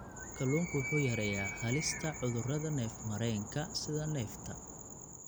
Kalluunku wuxuu yareeyaa halista cudurrada neef-mareenka, sida neefta.